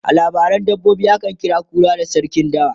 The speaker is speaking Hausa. a labaran dabbobi akan kira kura da sarkin dawa